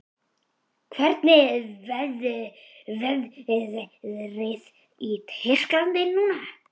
Hvernig er veðrið í Tyrklandi núna?